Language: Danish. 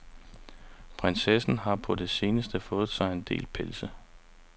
Prinsessen har på det seneste fået sig en del pelse.